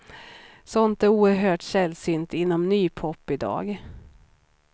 Sånt är oerhört sällsynt inom ny pop i dag.